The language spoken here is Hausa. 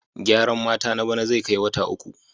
Gyaran mata na bana zai kai wata uku.